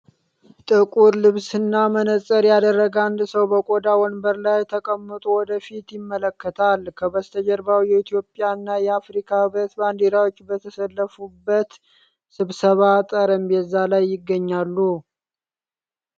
ጥቁር ልብስ እና መነጽር ያደረገ አንድ ሰው በቆዳ ወንበር ላይ ተቀምጦ ወደ ፊት ይመለከታል። ከበስተጀርባው የኢትዮጵያ እና የአፍሪካ ህብረት ባንዲራዎች በተሰለፉበት ስብሰባ ጠረጴዛ ላይ ይገኛል።